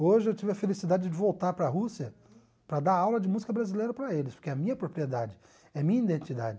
Hoje eu tive a felicidade de voltar para a Rússia para dar aula de música brasileira para eles, porque é a minha propriedade, é a minha identidade.